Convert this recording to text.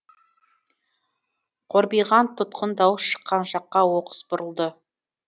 қорбиған тұтқын дауыс шыққан жаққа оқыс бұрылды